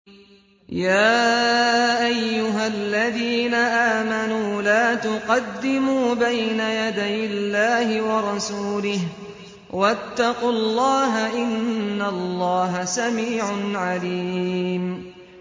يَا أَيُّهَا الَّذِينَ آمَنُوا لَا تُقَدِّمُوا بَيْنَ يَدَيِ اللَّهِ وَرَسُولِهِ ۖ وَاتَّقُوا اللَّهَ ۚ إِنَّ اللَّهَ سَمِيعٌ عَلِيمٌ